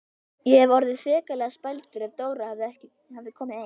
Ég hefði orðið hrikalega spældur ef Dóra hefði komið ein!